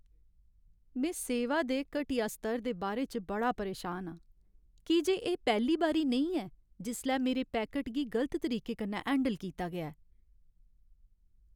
में सेवा दे घटिया स्तर दे बारे च बड़ा परेशान आं, की जे एह् पैह्ली बारी नेईं ऐ जिसलै मेरे पैकट गी गलत तरीके कन्नै हैंडल कीता गेआ ऐ।